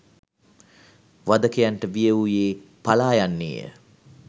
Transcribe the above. වධකයන්ට බිය වූයේ පලා යන්නේ ය